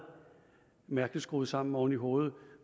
mærkeligt skruet sammen oven i hovedet